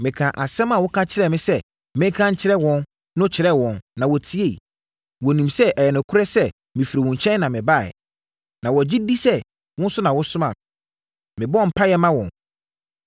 Mekaa asɛm a woka kyerɛɛ me sɛ menka nkyerɛ wɔn no kyerɛɛ wɔn na wɔtieeɛ. Wɔnim sɛ ɛyɛ nokorɛ sɛ mefiri wo nkyɛn na mebaeɛ. Na wɔgye di sɛ wo na wosomaa me.